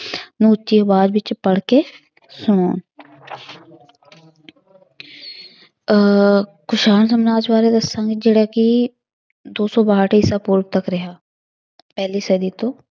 ਨੂੰ ਉੱਚੀ ਆਵਾਜ਼ ਵਿੱਚ ਪੜ੍ਹਕੇ ਸੁਣਾਉਣ ਅਹ ਕੁਸ਼ਾਣ ਸਮਰਾਜ ਬਾਰੇ ਦੱਸਾਂਗੀ ਜਿਹੜਾ ਕਿ ਦੋ ਸੌ ਬਾਹਠ ਈਸਾ ਪੂਰਵ ਤੱਕ ਰਿਹਾ ਪਹਿਲੀ ਸਦੀ ਤੋਂ।